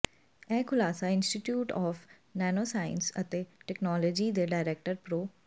ਇਹ ਖੁਲਾਸਾ institute of nano science and technology ਦੇ ਡਾਇਰੈਕਟਰ ਪ੍ਰੋ